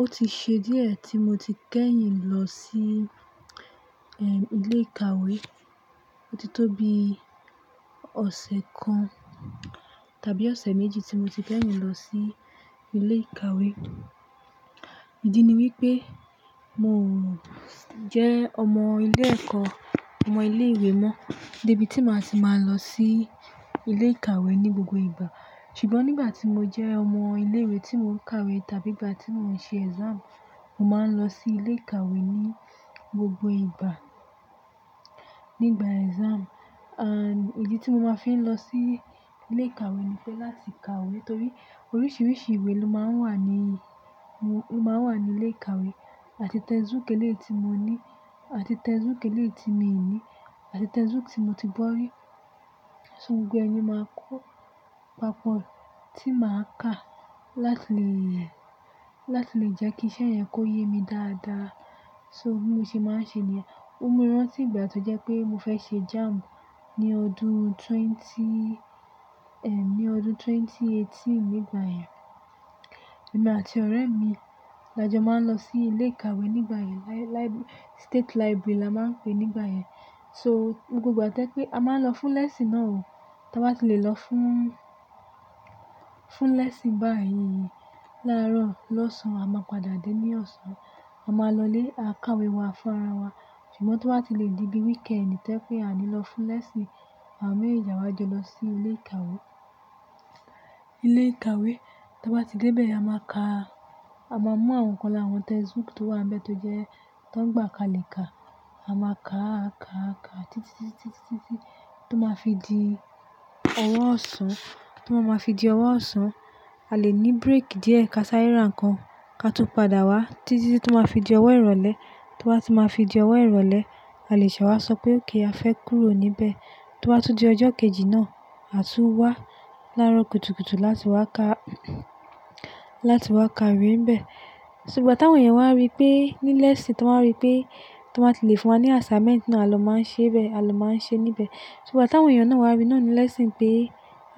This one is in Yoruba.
Ó ti ṣe díẹ̀ tí mo ti kẹ́yìn lọ sí, eh, ilé ìkàwé. Ó ti tó bi ọ̀sẹ̀ kan tàbí ọ̀sẹ̀ méjì tí mo ti kẹ́yìn lọ sí ilé ìkàwé. Ìdí ni wípé mo jẹ́ ọmọ ilé ẹ̀kọ́, ọmọ ilé ìwé mọ́. Débí tí máa ti máa lọ sí ilé ìkàwé ní gbogbo ìgbà. Ṣùgbọ́n nígbà tí mo jẹ́ ọmọ ilé ìwé tí mò ń ka ìwé tàbí ìgbà tí mò ń ṣe exam, mo máa ń lọ sí ilé ìkàwé ní gbogbo ìgbà. Nígbà exam, and ìdí tí mo máa fi ń lọ sí ilé ìkàwé ni fẹ́ láti ka ìwé torí oríṣiríṣi ìwé ló máa ń wà ní, ló máa ń wà ní ilé ìkàwé. Àti textbook eléèti mo ní, àti textbook eléèti mi ò ní, àti textbook tí mo ti gbọ́ rí. So gbogbo ẹ̀ ni máa kó papọ̀ tí màá kà láti lè, láti lè jẹ́ kí iṣẹ́ yẹn kó yé mi dáadáa. So bí mọ ṣe máa ń ṣe nìyẹn. Ó mú mi rántí ìgbà tó jẹ́ pé mo fẹ́ ṣe JAMB ní ọdún twenty, eh, ní ọdún ẹgbẹ̀rún méjì ó lé méjìdínlógún nígbà yẹn. Èmi àti ọ̀rẹ́ mi la jọ máa ń lọ sí ilé ìkàwé nígbà yẹn. Li-library, state library la máa ń pè nígbà yẹn. So gbogbo ìgbà tẹ́ pé a máa ń lọ fún lesson náà o. Tí wọ́n bá ti lè lọ fún, fún lesson báyìí lárọ̀, lọ́sàn án a máa padà dé ní ọ̀sán. A máa lọ ilé a ká ìwé wa fún ara wa. Ṣùgbọ́n tí wọ́n bá ti lè dé bí wíkẹndì, ìtẹ́ pé a ní lọ fún lesson, àwa mẹ́ẹ̀jèjì a wa jọ lọ sí ilé ìkàwé ilé ìkàwé. Tí a bá ti dé bẹ́ẹ̀, a máa ka, a máa mú àwọn nǹkan làra textbook tó wà níbẹ̀ tó jẹ́ tó ń gbà ká lè ka. A máa kà á, kà á, kà á títí, títí, títí tó máa fi di ọ̀wọ́ ọ̀ṣán, tó máa fi di ọ̀wọ́ ọ̀ṣán. A lè ní break díẹ̀ ká sá eré ra nnkan ká tún padà wá títí tó máa fi di ọ̀wọ́ ìrọ̀lẹ́, tó wá ti máa fi di ọ̀wọ́ ìrọ̀lẹ́. A lè ṣè wà sọ pé okay a fẹ́ kúrò níbẹ̀. Tó bà tún tí di ọjọ́ kejì náà, a tún wá lárọ̀ kùtùkùtù láti wá ká, láti wá ka ìwé níbẹ̀. Ṣùgbọ́n ìgbà tí àwọn èèyàn wá rí pé ní lesson, tí wọ́n rí pé tí wọ́n bá ti lè fún wa ní assignment náà ló máa ń ṣe bẹ́ẹ̀, a ló máa ń ṣe níbẹ̀. Ṣùgbọ́n ìgbà tí àwọn èèyàn náà wá rí náà ní lesson pé,